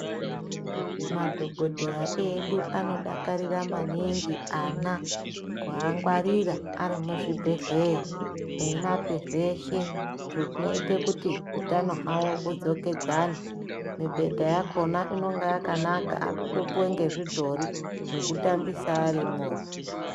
Madhokodheya edu anodakarira maningi ana kuangwarira ari muzvibhehleya eimape zveshe zvinoite kuti utano hwavo hudzokedzane mibhedha yakhona inonga yakanaka anotopuwa ngezvidhori zvekutambisa ari imwona.